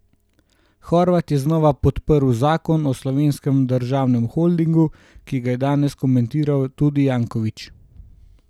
Horvat je znova podprl zakon o Slovenskem državnem holdingu, ki ga je danes komentiral tudi Janković.